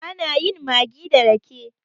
ana yin maggi da rake